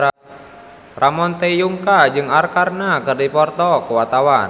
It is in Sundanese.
Ramon T. Yungka jeung Arkarna keur dipoto ku wartawan